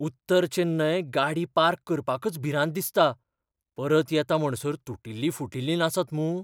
उत्तर चेन्नय गाडी पार्क करपाकच भिरांत दिसता, परत येता म्हणसर तुटिल्ली फुटिल्ली नासत मूं?